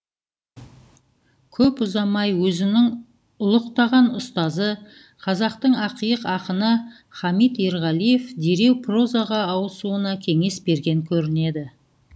көп ұзамай өзінің ұлықтаған ұстазы қазақтың ақиық ақыны хамит ерғалиев дереу прозаға ауысуына кеңес берген көрінеді